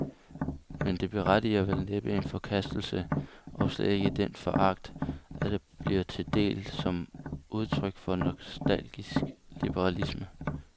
Men det berettiger vel næppe en forkastelse, og slet ikke den foragt, der bliver det til del som udtryk for nostalgisk liberalisme.